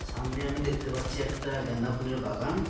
সামনে আমি দেখতে পাচ্ছি একটা গাঁদা ফুলের বাগান।